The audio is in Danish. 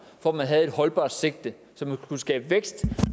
for at man havde et holdbart sigte så man kunne skabe vækst